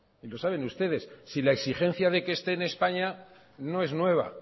y lo saben ustedes si la exigencia de que esté en españa no es nueva